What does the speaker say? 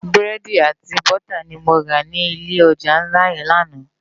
Búrédi àti bútá ni mó rá ni ilé òjá nlá yèn làná